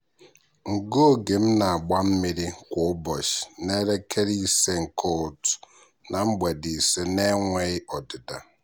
ngụ oge m na-agba mmiri kwa ụbọchị n'elekere ise nke ụtụtụ na mgbede ise na-enweghị ọdịda.